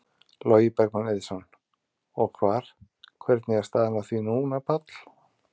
Logi Bergmann Eiðsson: Og hvar, hvernig er staðan á því núna, Páll?